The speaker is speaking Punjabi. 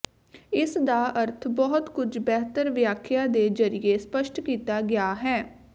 ਇਸ ਦਾ ਅਰਥ ਬਹੁਤ ਕੁਝ ਬਿਹਤਰ ਵਿਆਖਿਆ ਦੇ ਜ਼ਰੀਏ ਸਪੱਸ਼ਟ ਕੀਤਾ ਗਿਆ ਹੈ